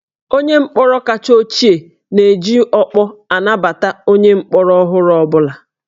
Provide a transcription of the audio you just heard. Onye mkpọrọ kacha ochie na-eji ọkpọ anabata onye mkpọrọ ọhụrụ ọ bụla